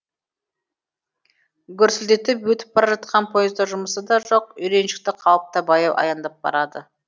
гүрсілдетіп өтіп бара жатқан поезда жұмысы да жоқ үйреншікті қалыпта баяу аяңдап барады